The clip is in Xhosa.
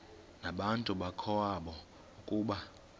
nabantu bakowabo ukuba